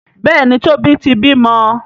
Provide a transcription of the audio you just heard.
Béèni Tobi tí bímọ.